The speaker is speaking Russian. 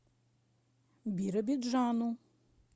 биробиджану